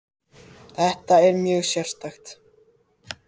Þetta er mjög sérstakt